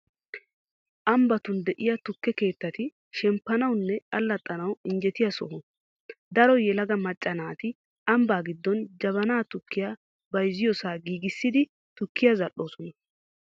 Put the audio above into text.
Ambbatun de'iya tukke keettati shemppanawunne allaxxanawu injjetiya soho. Daro yelaga macca naati ambbaa giddon jabana tukkiya bayzziyosaa giigissidi tukkiyaa zal'oosona.